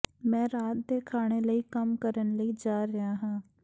ਮੈਂ ਰਾਤ ਦੇ ਖਾਣੇ ਲਈ ਕੰਮ ਕਰਨ ਲਈ ਜਾ ਰਿਹਾ ਹਾਂ